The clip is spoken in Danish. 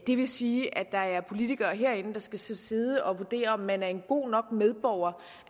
det vil sige at der er politikere herinde der skal sidde og vurdere om man er en god nok medborger